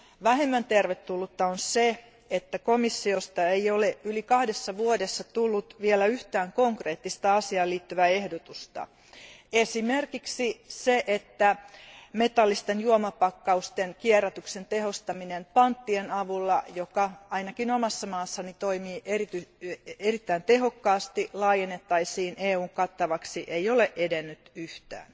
Vähemmän tervetullutta on se, että komissiosta ei ole yli kahdessa vuodessa tullut vielä yhtään konkreettista asiaan liittyvää ehdotusta. Esimerkiksi se, että metallisten juomapakkausten kierrätyksen tehostaminen panttien avulla, mikä ainakin omassa maassani toimii erittäin tehokkaasti, laajennettaisiin EUn kattavaksi, ei ole edennyt yhtään.